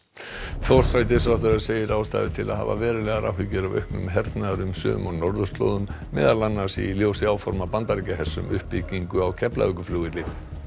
forsætisráðherra segir ástæðu til að hafa verulegar áhyggjur af auknum hernaðarumsvifum á norðurslóðum meðal annars í ljósi áforma Bandaríkjahers um uppbyggingu á Keflavíkurflugvelli